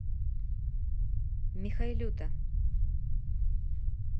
михайлюта